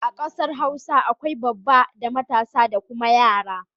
A kasar Hausa akwai babba da matasa da kuma yara.